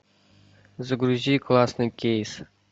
загрузи классный кейс